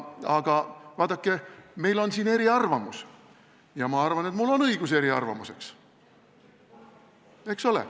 Aga vaadake, meil on siin eriarvamus, ja ma arvan, et mul on õigus eriarvamuseks, eks ole.